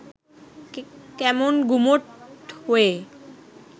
কেমন গুমোট হয়ে